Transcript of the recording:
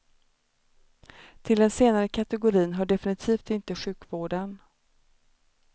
Till den senare kategorin hör definitivt inte sjukvården.